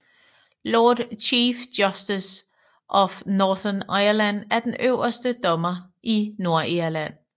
Lord Chief Justice of Northern Ireland er den øverste dommer i Nordirland